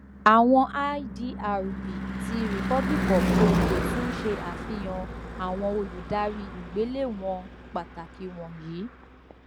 awọn idr b ti republic of congo tun ṣe afihan awọn oludari igbelewọn pataki wọnyi